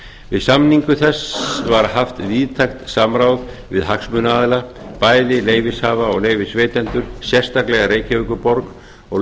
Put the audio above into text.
við samningu þess var haft víðtækt samráð við hagsmunaaðila bæði leyfishafa og leyfisveitendur sérstaklega reykjavíkurborg og